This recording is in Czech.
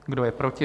Kdo je proti?